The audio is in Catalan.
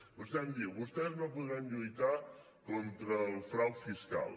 vostè em diu vostès no podran lluitar contra el frau fiscal